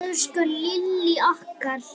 Elsku Lillý okkar.